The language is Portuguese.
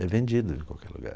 É vendido em qualquer lugar.